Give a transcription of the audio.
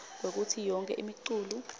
kwekutsi yonkhe imiculu